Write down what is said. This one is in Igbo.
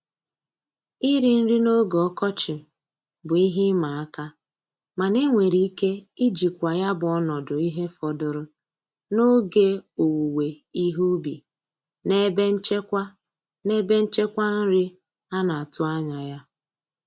Iri nri n'oge ọkọchị bụ ihe ịma aka mana enwere ike ijikwa ya bụ ọnọdụ ihe fọdụrụ n'oge owuwe ihe ubi na ebe nchekwa na ebe nchekwa nri a na-atụ anya ya.